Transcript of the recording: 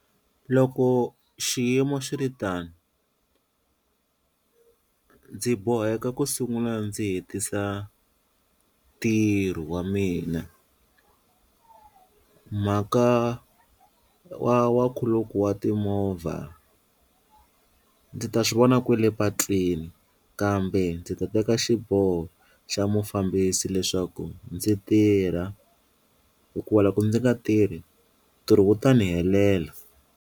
Loko xiyimo xi ri tano ndzi boheka ku sungula ndzi hetisa ntirho wa mina mhaka wa wa nkhuluko wa timovha ndzi ta swi vona kwele patwini kambe ndzi ta teka xiboho xa mufambisi leswaku ndzi tirha hikuva ku loko ndzi nga tirhi ntirho wu ta ni helela.